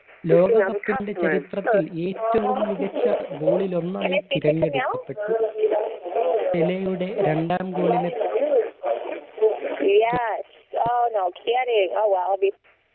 ലോക cup ന്റെ ചരിത്രത്തിൽ ഏറ്റവും മികച്ച goal ൽ ഒന്നായി തിരഞ്ഞെടുക്കപ്പെട്ടു പെലയുടെ രണ്ടാം ഗോളിന്